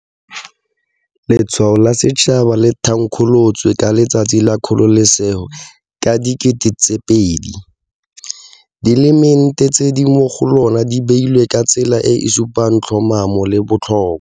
Letshwao la Setšhaba le thankgolotswe ka Letsatsi la Kgololosego ka 2000. Dielemente tse di mo go lona di beilwe ka tsela e e supang tlhomamo le botlhokwa.